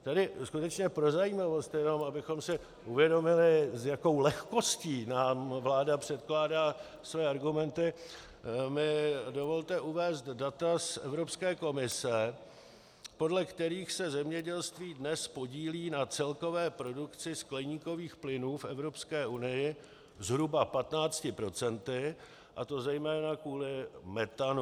Tedy skutečně pro zajímavost, jenom abychom si uvědomili, s jakou lehkostí nám vláda předkládá své argumenty, mi dovolte uvést data z Evropské komise, podle kterých se zemědělství dnes podílí na celkové produkci skleníkových plynů v Evropské unii zhruba 15 %, a to zejména kvůli metanu.